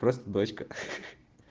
просто бочка